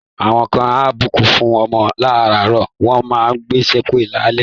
Àwọn kan á bùkún fún ọmọ láàárọ̀, wọ́n máa gbe ṣépè lálẹ́.